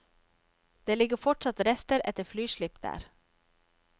Det ligger fortsatt rester etter flyslipp der.